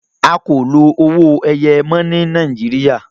a kọ ló owoeye mọ ní Nàìjíríà